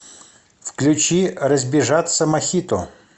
включи разбежаться мохито